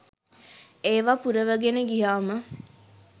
ඒවා පුරවගෙනම ගියාම